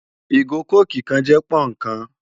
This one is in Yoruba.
Igó kókí kán jè pònnú kán